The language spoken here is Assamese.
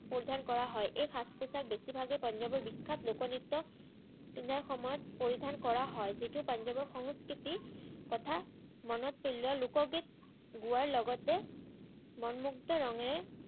উদ্ধাৰ কৰা হয়। এই সাজ-পোচাক বেছিভাগেই পাঞ্জাৱৰ বিখ্যাত লোক-নৃত্য ৰ সময়ত পৰিধান কৰা হয়, যিটো পাঞ্জাৱৰ সংস্কৃতি কথা মনত পেলোৱাৰ লগতে লোকগীত গোৱাৰ লগতে মনমুগদ্ধ ৰঙেৰে